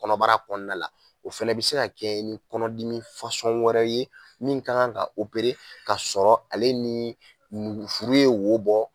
Kɔnɔbara o fɛnɛ bi se ka kɛ ni kɔnɔdimi wɛrɛ ye min ka kan ka ka sɔrɔ ale ni furu ye wo bɔ